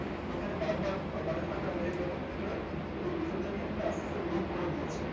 এখানে বারবার ধাক্কা মেরে মেরে মেরে মেরে এই level টা কে কিন্তু আস্তে আস্তে weak করে দিয়েছে